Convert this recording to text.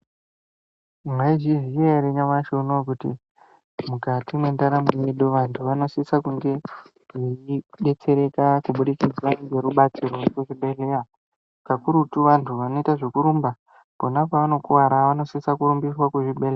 Maizviziya here nyamashi uno kuti mukati mwendaramo yedu vantu vanosisa kunge veibetseteka kubudikidza ngerubatsiro wekuzvibhedhlera kakurutu vantu vanoita ngekurumba phiona pavanokuvara vanosisa kurumbiswa kuzvibhedhlera.